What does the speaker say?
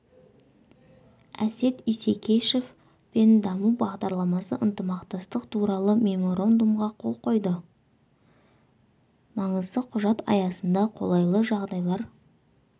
әсет исекешев пен даму бағдарламасы ынтымақтастық туралы меморандумға қол қойды маңызды құжат аясында қолайлы жағдайлар